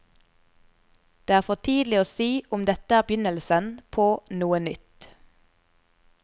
Det er for tidlig å si om dette er begynnelsen på noe nytt.